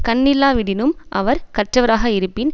கண்ணில்லாவிடினும் அவர் கற்றவராக இருப்பின்